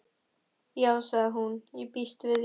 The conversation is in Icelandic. Já sagði hún, ég býst við því